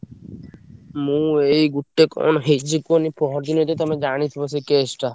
ମୁଁ ଏଇ ଗୋଟେ କଣ ହେଇଛି କୁହନି ପହରଦିନ ତ ତମେ ଜାଣିଥିବ ସେ case ଟା।